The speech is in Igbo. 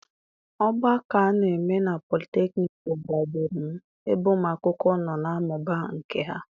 Ogbako a na-eme na polytechnic gbagburu m, ebe ụmụ akwụkwọ nọ na-amụba nkà ha.